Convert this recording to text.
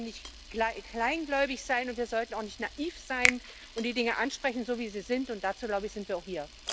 Wir sollten nicht kleingläubig sein, wir sollten auch nicht naiv sein und die Dinge ansprechen, so wie sie sind, und dazu, glaube ich, sind wir auch hier.